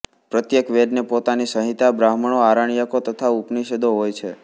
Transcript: પ્રત્યેક વેદને પોતાની સંહિતા બ્રાહ્મણો આરણ્યકો તથા ઉપનિષદો હોય છે